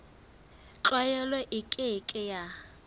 tlwaelo e ke ke ya